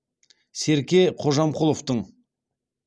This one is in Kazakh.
серке қожамқұловтың